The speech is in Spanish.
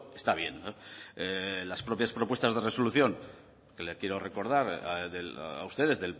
está bien las propias propuestas de resolución que le quiero recordar a ustedes